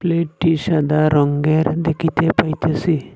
প্লেটটি সাদা রঙ্গের দেখিতে পাইতেসি।